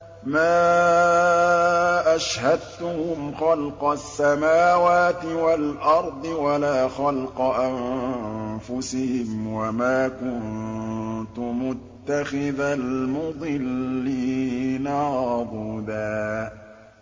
۞ مَّا أَشْهَدتُّهُمْ خَلْقَ السَّمَاوَاتِ وَالْأَرْضِ وَلَا خَلْقَ أَنفُسِهِمْ وَمَا كُنتُ مُتَّخِذَ الْمُضِلِّينَ عَضُدًا